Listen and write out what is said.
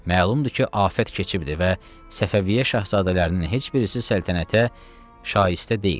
Məlumdur ki, afət keçibdir və Səfəviyyə şahzadələrinin heç birisi səltənətə şayəstə deyil.